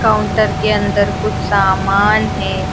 Counter के अंदर कुछ सामान है।